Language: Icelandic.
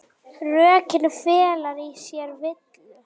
Rökin fela í sér villu.